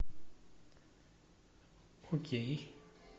окей